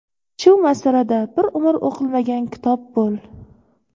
Shu masalada bir umr o‘qilmagan kitob bo‘l.